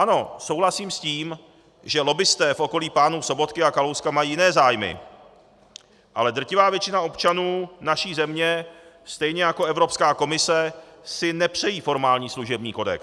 Ano, souhlasím s tím, že lobbisté v okolí pánů Sobotky a Kalouska mají jiné zájmy, ale drtivá většina občanů naší země stejně jako Evropská komise si nepřejí formální služební kodex.